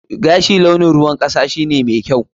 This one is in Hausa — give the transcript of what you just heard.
Gashi launin ruwan kasa shine mai kyau.